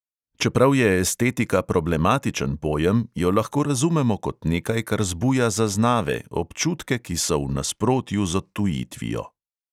Čeprav je estetika problematičen pojem, jo lahko razumemo kot nekaj, kar zbuja zaznave, občutke, ki so v nasprotju z odtujitvijo.